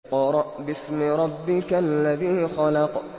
اقْرَأْ بِاسْمِ رَبِّكَ الَّذِي خَلَقَ